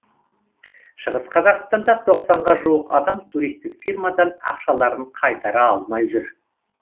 шығыс қазақстанда тоқсанға жуық адам туристік фирмадан ақшаларын қайтара алмай жүр